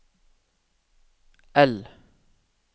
L